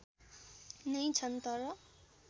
नै छन् तर